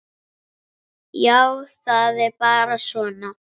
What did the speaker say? Já, það er bara svona.